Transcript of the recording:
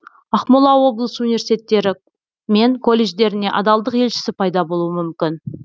ақмола облысы университеттері мен колледждерінде адалдық елшісі пайда болуы мүмкін